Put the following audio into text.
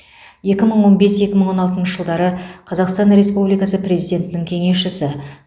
екі мың он бес екі мың он алтыншы жылдары қазақстан республикасы президентінің кеңесшісі